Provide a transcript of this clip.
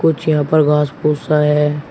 कुछ यहां पर घास फूस सा है।